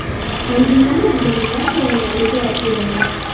Anjumanda jurnalistlar savollariga javob berildi.